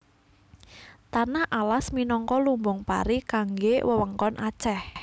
Tanah Alas minangka lumbung pari kanggé wewengkon Aceh